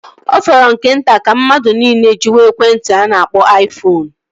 Ọ fọrọ nke nta ka mmadụ niile jiwe ekwentị a na-akpọ aifoonu